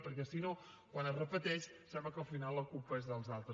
perquè si no quan es repeteix sembla que al final la culpa és dels altres